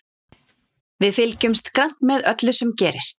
Við fylgjumst grannt með öllu sem gerist.